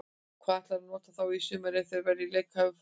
Hvar ætlarðu að nota þá í sumar ef þeir verða í leikhæfu formi?